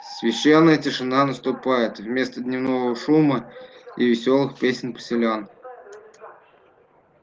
священная тишина заступает вместо дневного шума и весёлых песен поселян